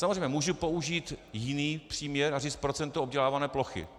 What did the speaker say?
Samozřejmě mohu použít jiný příměr a říct procento obdělávané plochy.